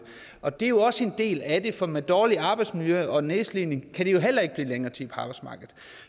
og det er jo også en del af det for med dårligt arbejdsmiljø og nedslidning kan de heller ikke blive længere tid på arbejdsmarkedet